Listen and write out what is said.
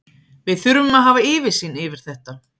Við þurfum að hafa yfirsýn yfir þetta.